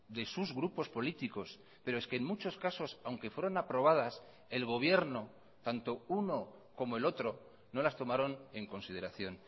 de sus grupos políticos pero es que en muchos casos aunque fueron aprobadas el gobierno tanto uno como el otro no las tomaron en consideración